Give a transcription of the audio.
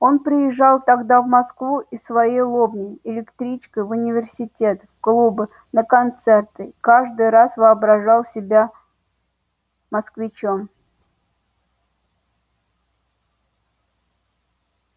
он приезжал тогда в москву из своей лобни электричкой в университет в клубы на концерты каждый раз воображал себя москвичом